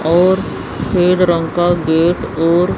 और सफेद रंग का गेट और--